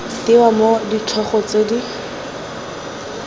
tewa mo ditlhogo tse di